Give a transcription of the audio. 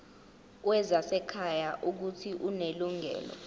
wezasekhaya uuthi unelungelo